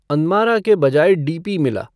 अनमारा के बजाय डीपी मिला